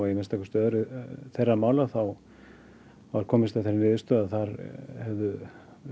að minnsta kosti öðru þeirra mála þá var komist að þeirri niðurstöðu að þar hefðu